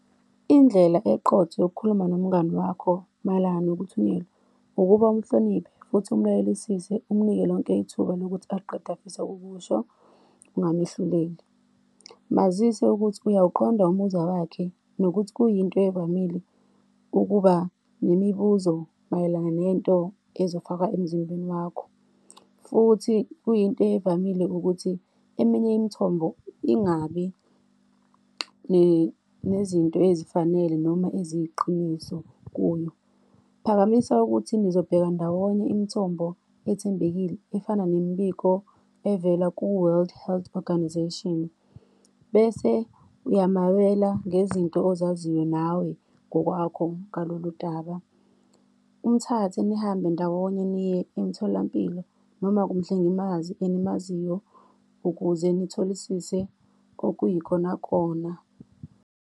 Indlela eqotho yokukhuluma nomngani wakho mayelana nokuthunyelwa, ukuba umhloniphe futhi umlalelisise, umnike lonke ithuba lokuthi aqede afisa ukusho, ungamehluleli. Mazise ukuthi uyawuqonda umuzwa wakhe, nokuthi kuyinto evamile ukuba nemibuzo mayelana nento ezofakwa emzimbeni wakho, futhi kuyinto evamile ukuthi eminye imithombo ingabi nezinto ezifanele noma eziyiqiniso kuyo. Phakamisa ukuthi nizobheka ndawonye imithombo ethembekile efana nemibiko evela ku-World Health Organisation, bese uyamabela ngezinto ozaziyo nawe ngokwakho ngalolu daba. Umthathe nihambe ndawonye, niye emtholampilo noma kumhlengimazi enimaziyo ukuze nitholisise okuyikonakona.